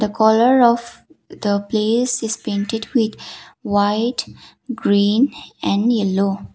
the colour of the place is painted with white green and yellow.